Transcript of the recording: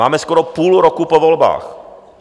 Máme skoro půl roku po volbách.